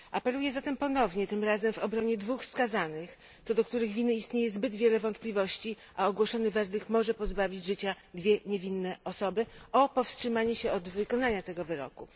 Apeluję zatem ponownie, tym razem w obronie dwóch skazanych, co do których winy istnieje zbyt wiele wątpliwości, a ogłoszony werdykt może pozbawić życia dwie niewinne osoby, o powstrzymanie się od wykonania tego wyroku.